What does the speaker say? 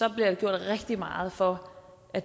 rigtig meget for at